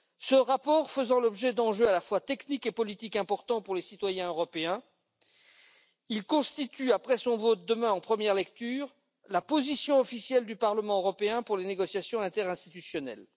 Ce rapport faisant l'objet d'enjeux à la fois techniques et politiques importants pour les citoyens européens, il constitue après son vote, demain en première lecture, la position officielle du Parlement pour les négociations interinstitutionnelles.